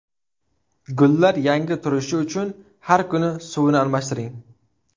Gullar yangi turishi uchun har kuni suvini almashtiring.